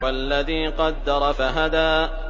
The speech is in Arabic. وَالَّذِي قَدَّرَ فَهَدَىٰ